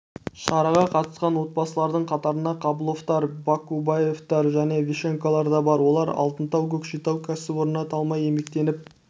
шараға қатысқан отбасылардың қатарында қабыловтар бакубаевтар және ващенколар да бар олар алтынтау көкшетау кәсіпорнында талмай еңбектеніп